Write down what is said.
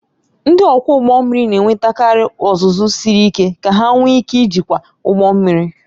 Ndị ọkwọ ụgbọ mmiri na-enwetakarị ọzụzụ siri ike ka ha nwee ike ijikwa ụgbọ mmiri